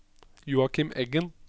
Joakim Eggen